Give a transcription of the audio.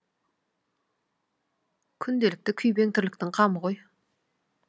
күнделікті күйбең тірліктің қамы ғой